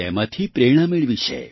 તેમાંથી પ્રેરણા મેળવી છે